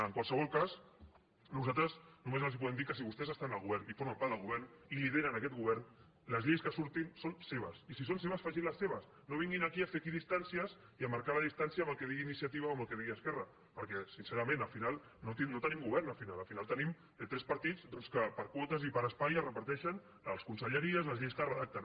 en qualsevol cas nosaltres només els podem dir que si vostès estan al govern i formen part del govern i lideren aquest govern les lleis que surtin són seves i si són seves facin les seves no vinguin aquí a fer equidistàncies i a marcar la distància amb el que digui iniciativa o amb el que digui esquerra perquè sincerament al final no tenim govern al final tenim tres partits doncs que per quotes i per espai es reparteixen les conselleries les lleis que redacten